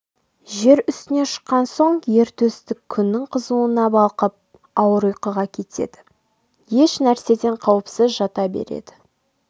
жер үстіне шыққан соң ер төстік күннің қызуына балқып ауыр ұйқыға кетеді еш нәрседен қауіпсіз жата береді